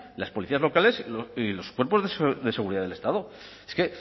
las policías locales y los cuerpos de seguridad del estado es que